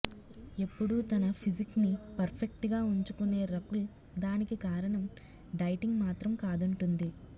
ఎప్పుడూ తన ఫిజిక్ ని పర్ఫెక్ట్ గా ఉంచుకునే రకుల్ దానికి కారణం డైటింగ్ మాత్రం కాదంటుంది